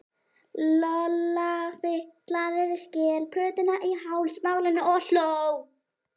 Lolla fitlaði við skelplötuna í hálsmálinu og hló.